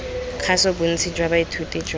kgaso bontsi jwa baithuti jwa